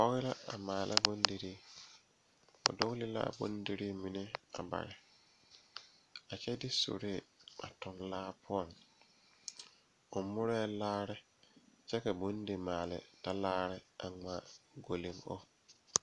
Pɔɔ la a maala bondirii o dugle laa bondirii mine a bare a kyɛ de suree a tuŋ laa poɔŋ o murɛɛ laare kyɛ ka bondimaale talaare a ngmaa golleŋ o.